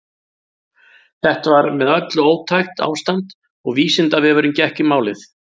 Þetta var með öllu ótækt ástand og Vísindavefurinn gekk í málið.